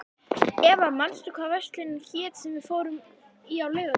Eva, manstu hvað verslunin hét sem við fórum í á laugardaginn?